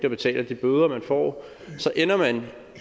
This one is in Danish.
at betale de bøder man får så ender man